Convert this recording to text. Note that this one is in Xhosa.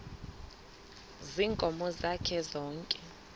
ziinkomo zakhe zonke